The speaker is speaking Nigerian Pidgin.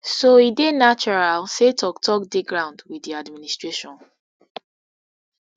so e dey natural say toktok dey ground wit di administration